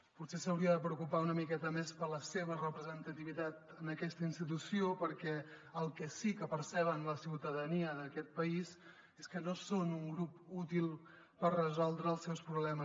potser s’hauria de preocupar una miqueta més per la seva representativitat en aquesta institució perquè el que sí que percep la ciutadania d’aquest país és que no són un grup útil per resoldre els seus problemes